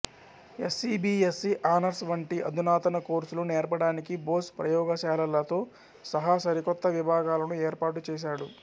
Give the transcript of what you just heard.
SC B SC honours వంటి అధునాతన కోర్సులు నేర్పడానికి బోస్ ప్రయోగశాలలతో సహా సరికొత్త విభాగాలను ఏర్పాటు చేశాడు